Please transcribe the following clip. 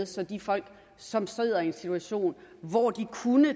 så de folk som sidder i en situation hvor de